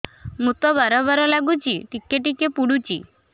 ମୁତ ବାର୍ ବାର୍ ଲାଗୁଚି ଟିକେ ଟିକେ ପୁଡୁଚି